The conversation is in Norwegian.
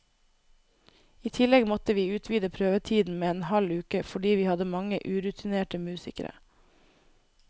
I tillegg måtte vi utvide prøvetiden med en halv uke, fordi vi hadde mange urutinerte musikere.